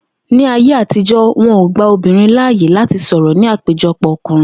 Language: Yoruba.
Ní ayé àtijó̩, wo̩n ò gba obìnrin láàyè láti sò̩rò̩ ní ìpéjo̩pò̩ o̩kùnrin